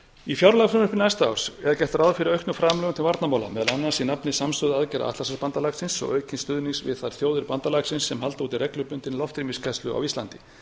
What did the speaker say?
í fjárlagafrumvarpi næsta árs er gert ráð fyrir auknum framlögum til varnarmála meðal annars í nafni samstöðu aðgerða atlantshafsbandalagsins og aukins stuðnings við þær þjóðir bandalagsins sem halda úti reglubundið loftrýmisgæslu á íslandi